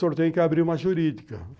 O senhor tem que abri uma jurídica.